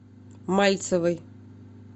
мальцевой